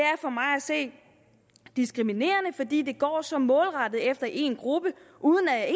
se diskriminerende fordi det går så målrettet efter en gruppe uden at